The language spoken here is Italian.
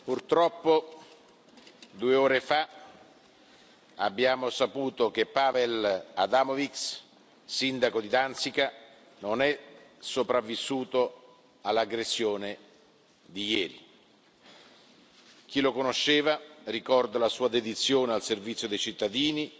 Onorevoli colleghi, purtroppo due ore fa abbiamo saputo che Paweł Adamowicz, sindaco di Danzica, non è sopravvissuto all'aggressione di ieri. Chi lo conosceva ricorda la sua dedizione al servizio dei cittadini